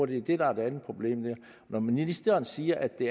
det er et andet problem og når ministeren siger at det